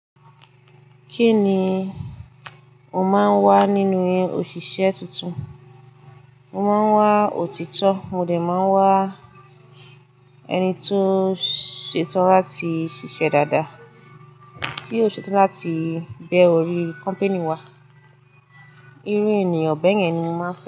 Kí ni o máa ń wá nínú ọ̀ṣìṣẹ́ tuntun? Mo máa ń wá òtítọ́, mo dẹ̀ máa wá ẹni tó ṣetán láti ṣiṣẹ́ dáadáa, tí ó ṣetán láti bẹ̀ ọ̀rí kọ́npinì wa. Irú ènìyàn bẹ́yen ni mo máa ń fẹ́